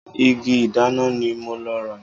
Igi ìdáná ni mo lọ rà.